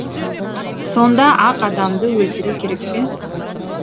сонда ақ адамды өлтіру керек пе